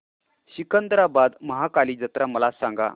सिकंदराबाद महाकाली जत्रा मला सांगा